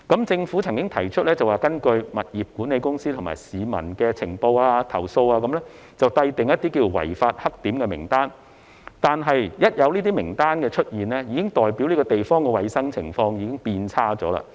政府曾經提出會根據物業管理公司及市民的情報及投訴，制訂"違法黑點"名單，但有這種名單出現，便已代表該等地方的衞生情況已經變差。